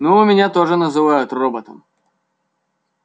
ну меня тоже называют роботом